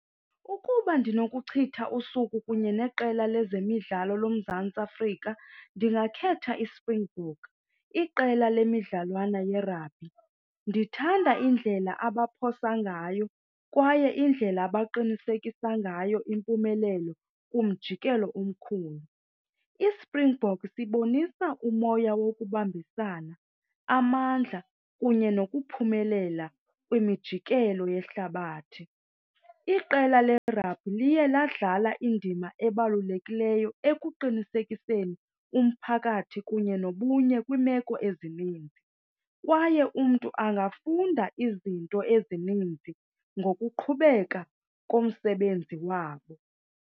Ukuba ndinokuchitha usuku kunye neqela lezemidlalo loMzantsi Afrika ndingakhetha iSpringbok, iqela lemidlalwana yerabhi. Ndithanda indlela abaphosa ngayo kwaye indlela abaqinisekisa ngayo impumelelo kumjikelo omkhulu. ISpringbok sibonisa umoya wokubambisana, amandla kunye nokuphumelela kwimijikelo yehlabathi. Iqela lerabhi liye ladlala indima ebalulekileyo ekuqinisekiseni umphakathi kunye nobunye kwiimeko ezininzi kwaye umntu angafunda izinto ezininzi ngokuqhubeka komsebenzi wabo.